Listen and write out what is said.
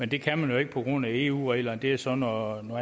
det kan man jo ikke på grund af eu reglerne og det er så noget